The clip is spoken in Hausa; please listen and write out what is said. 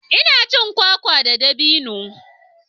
Ina cin kwakwa da dabino.